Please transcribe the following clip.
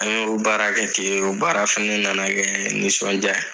An y'o baara kɛ ten o baara fana nana kɛ nisɔndiya ye.